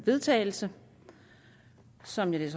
vedtagelse som jeg vil